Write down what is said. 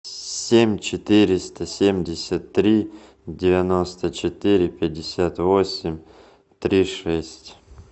семь четыреста семьдесят три девяносто четыре пятьдесят восемь три шесть